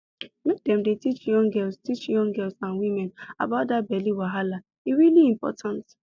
make dem dey teach young girls teach young girls and women about that belly wahala e really important